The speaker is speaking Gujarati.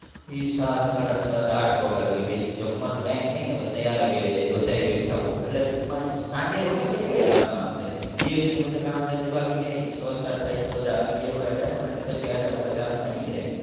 એ સાત સાડા સાત આઠ વાગ્યા લગી બેસે જમવાનો ટાઇમ થાય ને ત્યારે ઘરે જાય બધાય બેઠા હોય. એટલે ટૂકંમાં સાંજે રોનક જ હોય ને ગામમાં આપણે. દિવસના બધા કામ ધંધે ભાગી જાય છ સાત થાય ને બધા આવી ગયા હોય ને આડા અવડા ને પછી આડા અવડા ગામમાં નીકળે.